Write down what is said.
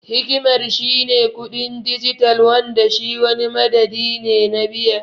Hikimar shi ne kuɗin dijital Wanda shi wani madadi ne na biya.